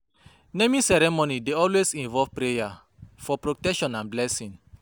Naming ceremony dey always involve prayer for protection and blessing